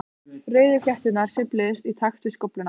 Rauðu flétturnar sveifluðust í takt við skófluna.